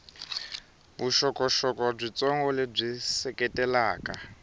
na vuxokoxoko byitsongo lebyi seketelaka